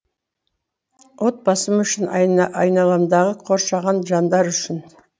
отбасым үшін айналамдағы қоршаған жандар үшін